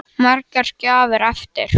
Sunna: Margar gjafir eftir?